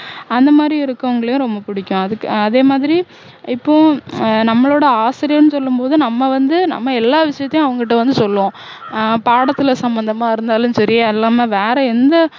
அந்தமாதிரி இருக்கவங்களையும் ரொம்ப புடிக்கும் அதுக்கு அதே மாதிரி இப்போ ஆஹ் நம்மளோட ஆசிரியர்ன்னு சொல்லும் போது நம்ம வந்து நம்ம எல்லா விஷயத்தையும் அவங்கள்ட வந்து சொல்லுவோம் ஆஹ் பாடத்துல சம்பந்தமா இருந்தாலும் சரி இல்லாம வேற எந்த